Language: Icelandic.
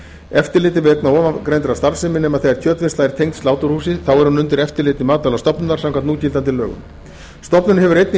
eftirliti vegna ofangreindrar starfsemi nema þegar kjötvinnsla er tengd sláturhúsi þá er hún undir eftirliti matvælastofnunar samkvæmt núgildandi lögum stofnunin hefur einnig